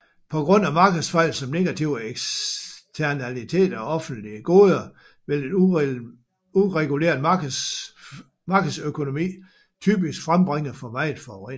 På grund af markedsfejl som negative eksternaliteter og offentlige goder vil en ureguleret markedsøkonomi typisk frembringe for meget forurening